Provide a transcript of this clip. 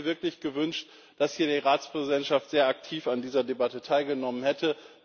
Ich hätte mir wirklich gewünscht, dass hier die Ratspräsidentschaft sehr aktiv an dieser Debatte teilgenommen hätte.